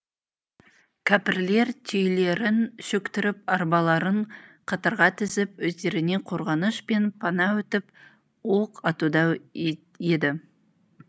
кәпірлер түйелерін шөктіріп арбаларын қатарға тізіп өздеріне қорғаныш пен пана өтіп оқ атуда еді